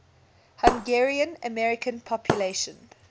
hungarian american population